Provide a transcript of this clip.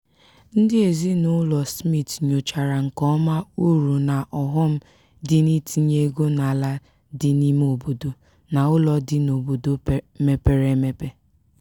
ndị ezinaụlọ smith nyochara nke ọma uru na ọghọm dị n'itinye ego n'ala dị n'ime obodo na ụlọ dị n'obodo mepere emepe.